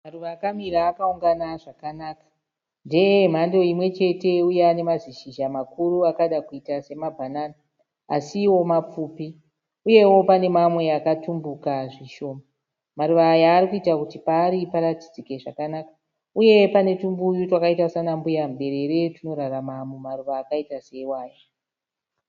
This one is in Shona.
Maruva akamira akaungana zvakanaka, ndeemhando imwe chete uye ane mazishizha makuru akada kuita semabanana, asi iwo mapfupi uyewo pane mamwe akatumbuka zvishoma. Maruva aya arikuita kuti paari paratidzike zvakanaka uye pane tumbuyu twakaita sanambuya muderere tunorarama mumaruva akaita seiwaya.